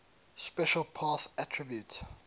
special path attribute